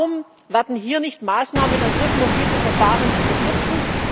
Warum werden hier nicht Maßnahmen ergriffen, um diese Verfahren zu verkürzen?